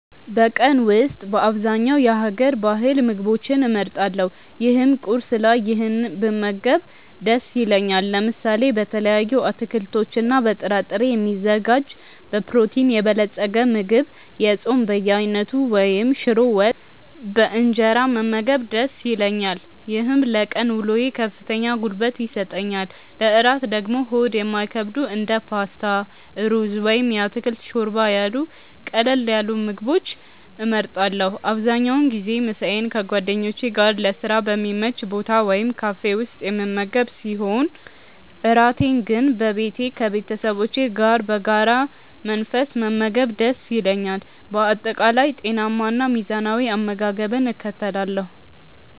በቀን ውስጥ በአብዛኛው የሀገር ባህል ምግቦችን እመርጣለሁ ይህም ቁርስ ላይ ይህንን ብመገብ ደስ ይለኛል። ለምሳ በተለያዩ አትክልቶችና በጥራጥሬ የሚዘጋጅ በፕሮቲን የበለፀገ ምግብ፣ የጾም በየአይነቱ ወይም ሽሮ ወጥ በእንጀራ መመገብ ደስ ይለኛል። ይህም ለቀን ውሎዬ ከፍተኛ ጉልበት ይሰጠኛል። ለእራት ደግሞ ሆድ የማይከብዱ እንደ ፓስታ፣ ሩዝ ወይም የአትክልት ሾርባ ያሉ ቀለል ያሉ ምግቦችን እመርጣለሁ። አብዛኛውን ጊዜ ምሳዬን ከጓደኞቼ ጋር ለስራ በሚመች ቦታ ወይም ካፌ ውስጥ የምመገብ ሲሆን፣ እራቴን ግን በቤቴ ከቤተሰቦቼ ጋር በረጋ መንፈስ መመገብ ደስ ይለኛል። በአጠቃላይ ጤናማና ሚዛናዊ አመጋገብን እከተላለሁ።